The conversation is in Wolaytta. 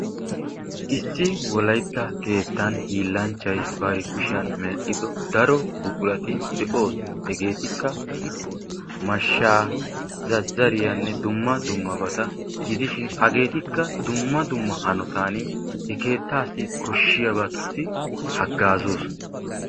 issi wolaytta keettan hiillanchchay bari kuushiyaan mell"ido daaro buquurati de"oosona. hegeetikka mashshaanne zazariyaa dumma dummabata gidishin hageetikka dumma dumma hanootan he keettaassi kooshiyaabatussi hagoozoosona.